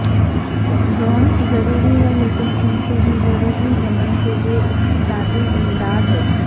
drones ضروری ہیں لیکن ان سے بھی ضروری یمن کے لیے اقتصادی امداد ہے